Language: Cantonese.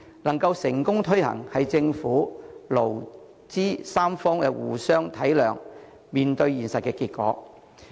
能夠成功推行，是政府、勞、資三方互相體諒、面對現實的結果。